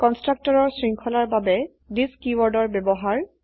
কন্সট্ৰকটৰৰ শৃঙ্খলাৰ বাবে থিচ কীওয়াৰ্ডৰ ব্যবহাৰ